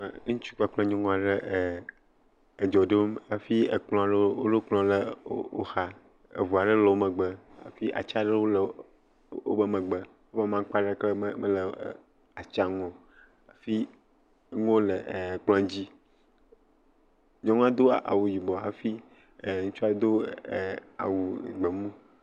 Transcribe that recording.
Ŋutsu kple nyɔnu aɖe edzo dom hafi ekplɔ ɖe le woxa eŋu aɖe le wo megbe hafi ati aɖe le wo megbe hafi amakpa aɖeke mele atia ŋu o, fi nuwo le kplɔ dzi. Nyɔnua do awu yiobɔ hafi ŋutsu do awu gbɔ mu